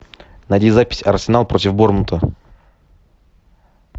найди запись арсенал против борнмута